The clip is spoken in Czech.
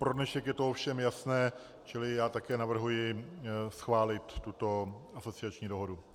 Pro dnešek je to ovšem jasné, čili já také navrhuji schválit tuto asociační dohodu.